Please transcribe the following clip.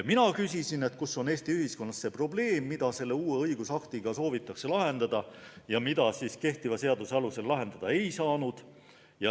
Mina küsisin, et kus on Eesti ühiskonnas see probleem, mida selle uue õigusaktiga soovitakse lahendada ja mida kehtiva seaduse alusel lahendada ei saanud.